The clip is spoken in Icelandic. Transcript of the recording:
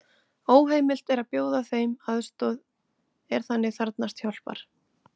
Óheimilt er að bjóða þeim aðstoð er þannig þarfnast hjálpar.